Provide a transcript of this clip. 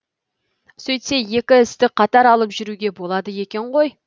сөйтсе екі істі қатар алып жүруге болады екен ғой